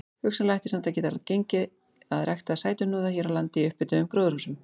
Hugsanlega ætti samt að geta gengið að rækta sætuhnúða hér á landi í upphituðum gróðurhúsum.